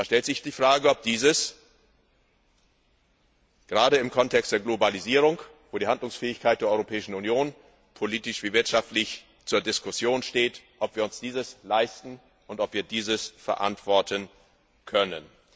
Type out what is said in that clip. Da stellt sich die Frage, ob wir uns dies gerade im Kontext der Globalisierung, wo die Handlungsfähigkeit der Europäischen Union politisch wie wirtschaftlich zur Diskussion steht, leisten und ob wir dies verantworten können.